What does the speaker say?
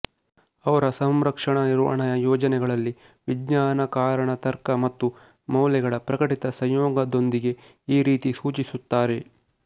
ಅವರ ಸಂರಕ್ಷಣಾ ನಿರ್ವಹಣೆಯ ಯೋಜನೆಗಳಲ್ಲಿ ವಿಜ್ಞಾನ ಕಾರಣ ತರ್ಕ ಮತ್ತು ಮೌಲ್ಯಗಳ ಪ್ರಕಟಿತ ಸಂಯೋಗದೊಂದಿಗೆ ಈ ರೀತಿ ಸೂಚಿಸುತ್ತಾರೆ